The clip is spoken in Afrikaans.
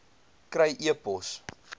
kry e pos